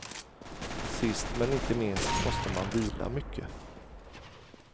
Sist men inte minst måste man vila mycket.